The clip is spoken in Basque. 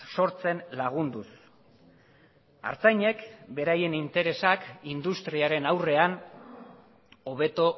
sortzen lagunduz artzainek beraien interesak industriaren aurrean hobeto